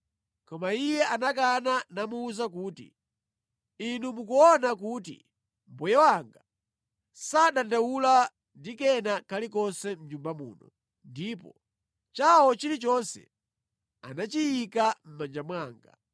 Koma iye anakana namuwuza kuti, “Inu mukuona kuti mbuye wanga sadandaula ndi kena kalikonse mʼnyumba muno, ndipo chawo chilichonse anachiyika mʼmanja mwanga.